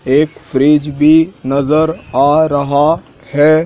एक फ्रिज भी नजर आ रहा है।